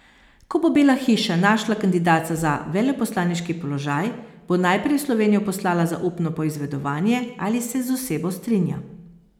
Ko bo Bela hiša našla kandidata za veleposlaniški položaj, bo najprej v Slovenijo poslala zaupno poizvedovanje, ali se z osebo strinja.